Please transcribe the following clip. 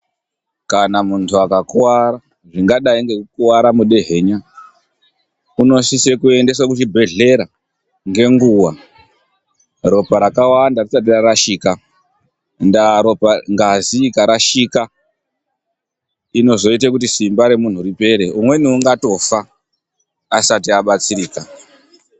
Kana muntu akakuwara, zvingadai ngekukuwara mudehenya unosise kuendeswe kuchibhedhlera ngenguwa ropa rakawanda risati rarashika. Ndaa ropa, ngazi ikarashika inozoita kuti simba remuntu ripere, umweni ungatofa asati abatsirika.